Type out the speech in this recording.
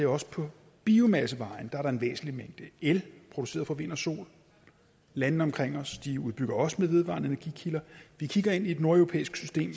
også på biomassevejen er en væsentlig mængde el produceret fra vind og sol landene omkring os udbygger også med vedvarende energikilder vi kigger ind i et nordeuropæisk system